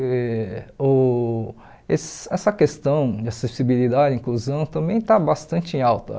E uh ess essa questão de acessibilidade e inclusão também está bastante em alta.